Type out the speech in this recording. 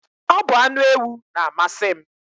Ọ bu anu ewu na-amasi m.